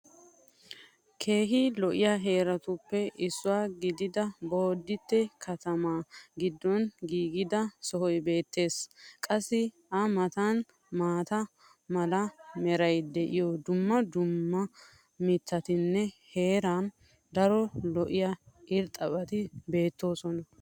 keehi lo'iya heeratuppe issuwa gididda bodite katamaa giddon giigida sohoy beetees. qassi a matan maata mala meray diyo dumma dumma mitatinne hara daro lo'iya irxxabati beetoosona.